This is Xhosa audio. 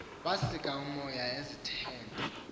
wasika umoya izithende